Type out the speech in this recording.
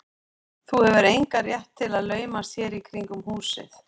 Þú hefur engan rétt til að laumast hér í kringum húsið.